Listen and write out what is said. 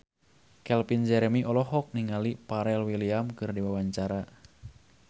Calvin Jeremy olohok ningali Pharrell Williams keur diwawancara